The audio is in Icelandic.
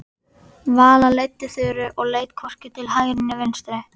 Vala leiddi Þuru og leit hvorki til hægri né vinstri.